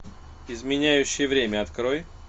изменяющий время открой